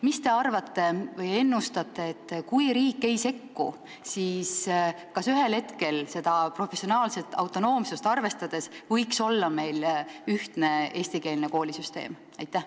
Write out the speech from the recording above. Mida te arvate või ennustate: kui riik ei sekku, siis kas ühel hetkel ka seda professionaalset autonoomsust arvestades võiks meil olla ühtne eestikeelne koolisüsteem?